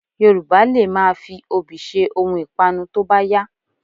Yorùbá lè máa fi obì ṣe ohun ìpanu tó bá yá